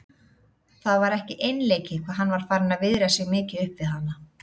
Það var ekki einleikið hvað hann var farinn að viðra sig mikið upp við hana.